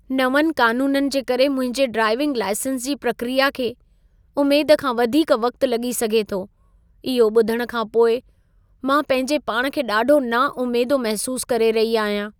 नवंनि क़ानूननि जे करे मुंहिंजे ड्राइविंग लाइसेंस जी प्रक्रिया खे उमेद खां वधीक वक़्तु लॻी सघे थो। इहो ॿुधण खां पोइ मां पंहिंजे पाण खे ॾाढो नाउमेदो महसूसु करे रही अहियां।